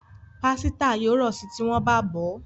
Pàsìta yóò ro sí tí wón bá bọ.